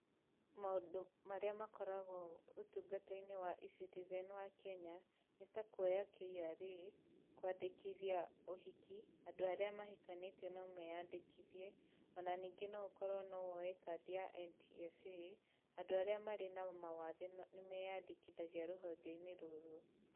Maũndũ marĩa makoragwo ũtungatainĩ wa E-citizen wa Kenya, nĩ ta kuoya KRA, kwandĩkithia ũhiki andũ mahikanĩtie nomeyandĩkithie, ona ningĩ noũkorwo nowoe kandi ya NTSA, andũ arĩa marĩ na mawathe nĩmeyandĩkithagia rũhongeinĩ rũrũ.